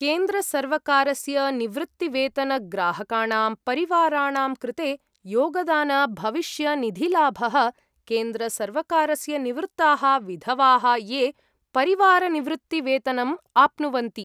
केन्द्रसर्वकारस्य निवृत्तिवेतनग्राहकाणां परिवाराणां कृते योगदानभविष्यनिधिलाभः केन्द्रसर्वकारस्य निवृत्ताः विधवाः ये परिवारनिवृत्तिवेतनम् आप्नुवन्ति।